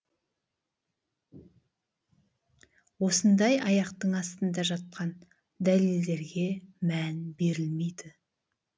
осындай аяқтың астында жатқан дәлелдерге мән берілмейді